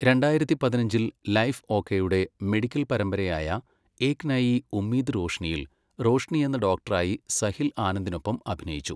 രണ്ടായിരത്തി പതിനഞ്ചിൽ , ലൈഫ് ഓകെയുടെ മെഡിക്കൽ പരമ്പരയായ ഏക് നയി ഉമ്മീദ് റോഷ്നിയിൽ റോഷ്നി എന്ന ഡോക്ടറായി സഹിൽ ആനന്ദിനൊപ്പം അഭിനയിച്ചു.